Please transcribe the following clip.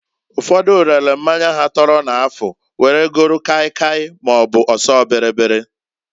Ụfodu relu mmanya ha tọrọ n'afụ, were golu kai kai maọbụ ọsọ bịrịbịrị.